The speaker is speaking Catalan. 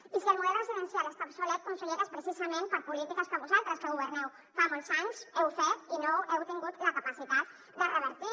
i si el model residencial està obsolet consellera és precisament per polítiques que vosaltres que governeu fa molts anys heu fet i no heu tingut la capacitat de revertir